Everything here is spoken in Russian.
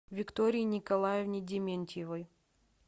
виктории николаевне дементьевой